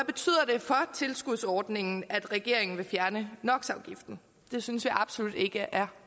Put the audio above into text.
tilskudsordningen at regeringen vil fjerne no det synes jeg absolut ikke er